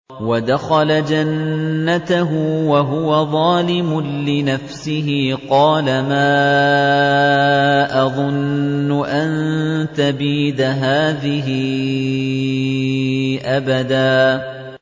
وَدَخَلَ جَنَّتَهُ وَهُوَ ظَالِمٌ لِّنَفْسِهِ قَالَ مَا أَظُنُّ أَن تَبِيدَ هَٰذِهِ أَبَدًا